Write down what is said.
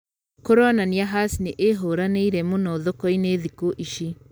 Kũronania Hass nĩ ĩhũranĩĩre mũno thoko-inĩ thikũ ici